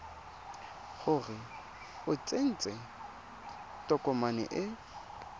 gore o tsentse tokomane e